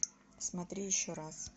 смотри еще раз